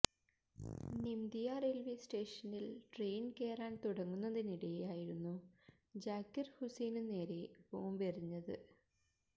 Nimtita railway സ്റ്റേഷനില് train കയറാന് തുടങ്ങുന്നതിനിടെയായിരുന്നു ജാക്കിര് ഹുസൈനു നേരെ ബോംബെറിഞ്ഞത്